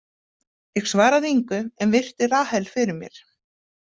Ég svaraði engu en virti Rahel fyrir mér.